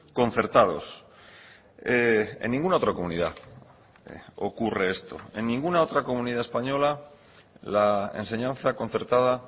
concertados en ninguna otra comunidad ocurre esto en ninguna otra comunidad española la enseñanza concertada